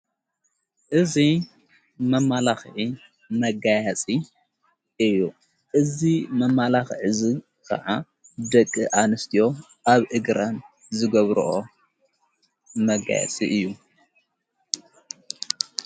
እዙ መማላኽ መጋያጺ እዩ እዙ መማላኽ ዕዝ ከዓ ደቂ ኣንስትዮ ኣብ ኢግራን ዝገብርኦ መጋያፂ እዩ።